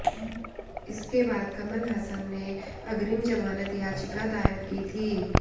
इसके बाद कमल हासन ने अग्रिम जमानत याचिका दायर की थी